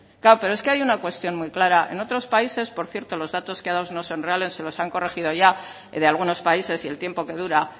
claro pero es que hay una cuestión muy clara en otros países por cierto los datos que ha dado no son reales se los han corregido ya de algunos países y el tiempo que dura